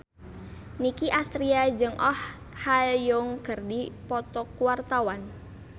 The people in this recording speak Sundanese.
Nicky Astria jeung Oh Ha Young keur dipoto ku wartawan